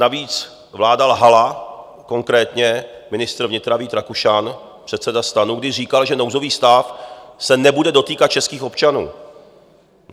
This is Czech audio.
Navíc vláda lhala, konkrétně ministr vnitra Vít Rakušan, předseda STAN, když říkal, že nouzový stav se nebude dotýkat českých občanů.